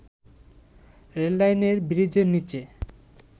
রেললাইনের ব্রীজের নিচে